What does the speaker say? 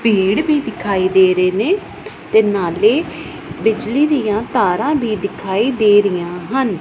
ਪੇੜ ਵੀ ਦਿਖਾਈ ਦੇ ਰਹੇ ਨੇ ਤੇ ਨਾਲੇ ਬਿਜਲੀ ਦਿਆਂ ਤਾਰਾਂ ਵੀ ਦਿਖਾਈ ਦੇ ਰਹੀਆਂ ਹਨ।